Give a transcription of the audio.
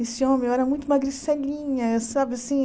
Esse homem eu era muito magricelinha, sabe assim?